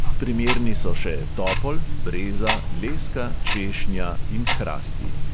Primerni so še topol, breza, leska, češnja in hrasti.